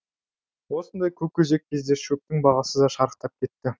осындай көкөзек кезде шөптің бағасы да шарықтап кетті